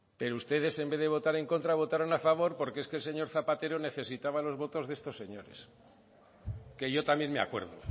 pero ustedes en vez de votar en contra votaron a favor porque es que el señor zapatero necesitaba los votos de estos señores que yo también me acuerdo